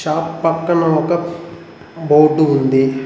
ఇడ పక్కన ఒక బోర్డు ఉంది.